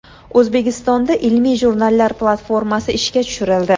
O‘zbekistonda ilmiy jurnallar platformasi ishga tushirildi.